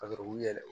Ka sɔrɔ k'u yɛlɛ